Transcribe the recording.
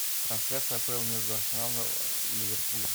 трансляция апл между арсеналом и ливерпулем